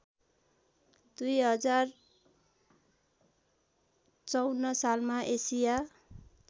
२०५४ सालमा एसिया